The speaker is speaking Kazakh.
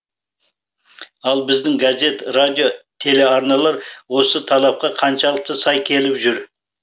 ал біздің газет радио телеарналар осы талапқа қаншалықты сай келіп жүр